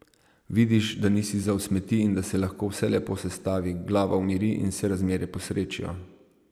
Vidiš, da nisi za v smeti in da se lahko vse lepo sestavi, glava umiri in se razmere posrečijo.